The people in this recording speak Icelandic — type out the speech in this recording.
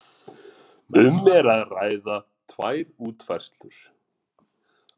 Um er að ræða tvær útfærslur